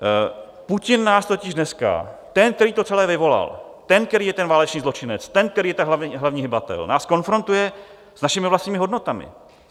Putin nás totiž dneska, ten, který to celé vyvolal, ten, který je ten válečný zločinec, ten, který je ten hlavní hybatel, nás konfrontuje s našimi vlastními hodnotami.